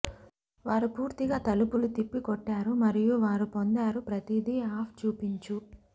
వారు పూర్తిగా తలుపులు తిప్పికొట్టారు మరియు వారు పొందారు ప్రతిదీ ఆఫ్ చూపించు